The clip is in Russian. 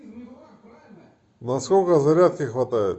на сколько зарядки хватает